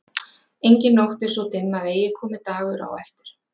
Engin nótt er svo dimm að eigi komi dagur á eftir.